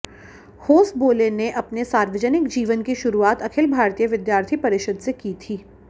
होसबोले ने अपने सार्वजनिक जीवन की शुरुआत अखिल भारतीय विद्यार्थी परिषद से की थी